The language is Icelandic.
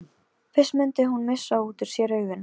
Fyrst mundi hún missa út úr sér augun.